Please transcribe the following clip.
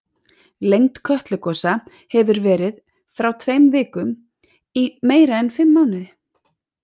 Lengd Kötlugosa hefur verið frá tveimur vikum í meira en fimm mánuði.